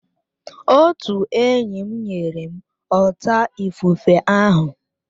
Otu enyi nyere m ọta ifufe ahụ